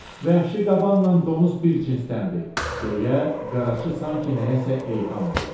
Vəhşi qabanla donuz bir cinsdəndir, deyə qaraçı sanki nəyəsə eyham vurdu.